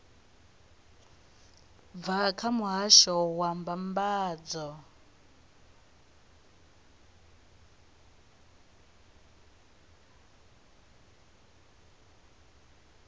bva kha muhasho wa mbambadzo